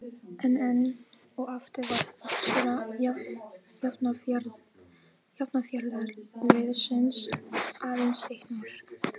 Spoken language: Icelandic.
En enn og aftur var uppskera Hafnarfjarðarliðsins aðeins eitt mark.